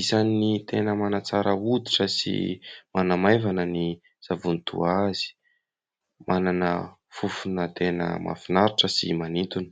Isany tena manatsara hoditra sy manamaivana ny savony toa azy. Manana fofona tena mahafinaritra sy manintona.